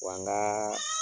Wa n ka